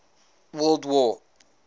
world war